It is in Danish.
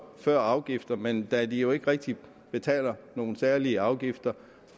før afgifter men da de jo ikke rigtig betaler nogen særlige afgifter